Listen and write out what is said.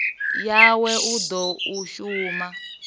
yawe u ḓa u shuma